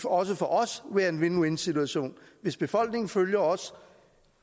også for os være en win win situation hvis befolkningen følger os